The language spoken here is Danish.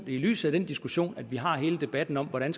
lyset af den diskussion vi har hele debatten om hvordan